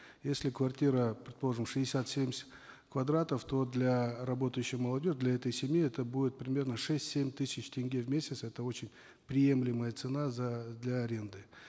если квартира предположим шестьдесят семьдесят квадратов то для работающей молодежи для этой семьи это будет примерно шесть семь тысяч тенге в месяц это очень приемлемая цена за для аренды